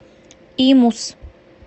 имус